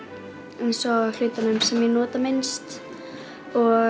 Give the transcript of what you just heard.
eins og hlutunum sem ég nota minnst og